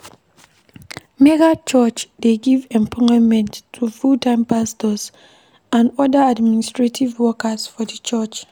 Megachurch dey give employment to full-time pastors and oda administrative workers for di church